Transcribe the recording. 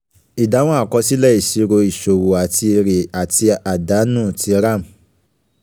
ìdáhùn àkọsílẹ̀ ìṣírò ìṣòwò àti èrè àti àdánù ti ram